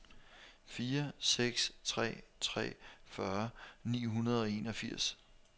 fire seks tre tre fyrre ni hundrede og enogfirs